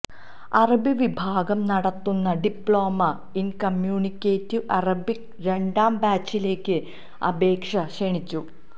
അറബി വിഭാഗം നടത്തുന്ന ഡിപ്ലോമ ഇന് കമ്മ്യൂണിക്കേറ്റീവ് അറബിക് രണ്ടാം ബാച്ചിലേക്ക് അപേക്ഷ ക്ഷണിച്ചു